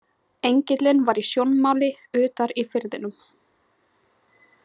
Engillinn var í sjónmáli utar í firðinum.